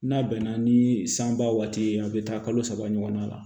N'a bɛnna ni sanba waati ye a bɛ taa kalo saba ɲɔgɔnna la